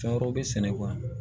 Fɛn wɛrɛw bɛ sɛnɛ